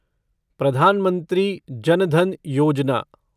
Pradhan Mantri Jan Dhan Yojana